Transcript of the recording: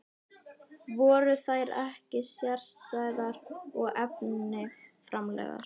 Voru þær ekki sérstæðar og eftirminnilegar?